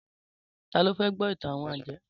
Tá lo fẹ́ gbọ́ ìtàn àwon àjẹ́?